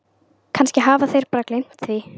Kannski hafa þeir bara gleymt því.